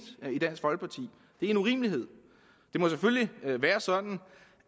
i en urimelighed det må selvfølgelig være sådan